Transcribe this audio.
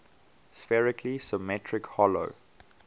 spherically symmetric hollow